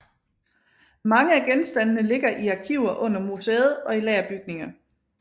Mange af genstandene ligger i arkiver under museet og i lagerbygninger